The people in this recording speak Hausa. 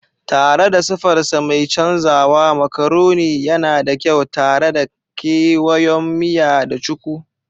Tare da sifarsa mai canzawa, macaroni yana da kyau tare da kewayon miya da cuku.